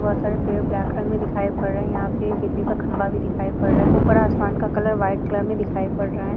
बोहोत सारे पेड़ ब्लैक कलर में दिखाई पड़ रहे हैं। यहाँ पे एक बिजली का खंभा भी दिखाई पड़ रहा है। ऊपर आसमान का कलर व्हाइट कलर में दिखाई पड़ रहा है।